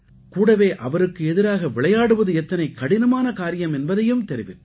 கூடவே அவருக்கு எதிராக விளையாடுவது எத்தனை கடினமான காரியம் என்பதையும் தெரிவித்தார்